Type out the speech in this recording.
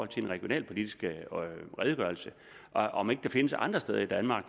den regionalpolitiske redegørelse og om ikke der findes andre steder i danmark